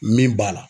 Min b'a la